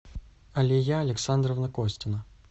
алия александровна костина